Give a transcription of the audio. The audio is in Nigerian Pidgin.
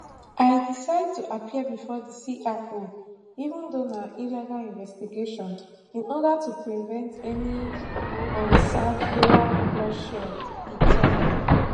i decide to appear bifor di cio even though na illegal investigation in order to prevent any unsavoury bloodshed e tok